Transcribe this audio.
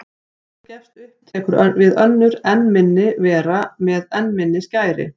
Þegar hún gefst upp tekur við önnur enn minni vera með enn minni skæri.